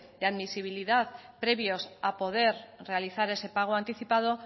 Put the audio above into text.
de admisibilidad previos a poder realizar ese pago anticipado